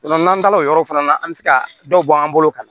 n'an taara o yɔrɔ fana na an mi se ka dɔ bɔ an bolo ka